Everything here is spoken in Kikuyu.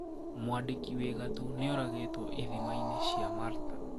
Mwandĩkĩ wii gatũ niũragitwo ithima-ini cia Malta.